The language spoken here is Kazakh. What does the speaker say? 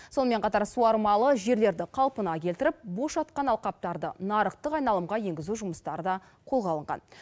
сонымен қатар суармалы жерлерді қалпына келтіріп бос жатқан алқаптарды нарықтық айналымға енгізу жұмыстары да қолға алынған